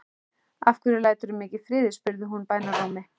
Af hverju læturðu mig ekki í friði? spurði hún bænarrómi.